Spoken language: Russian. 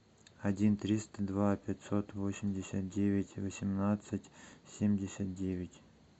один триста два пятьсот восемьдесят девять восемнадцать семьдесят девять